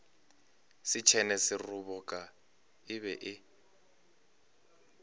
setšhene seroboka e be e